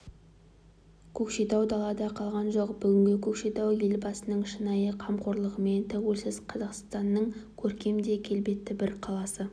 көкшетау далада қалған жоқ бүгінгі көкшетау елбасының шынайы қамқорлығымен тәуелсіз қазақстанның көркем де келбетті бір қаласы